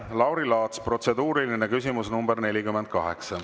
Lauri Laats, protseduuriline küsimus nr 48.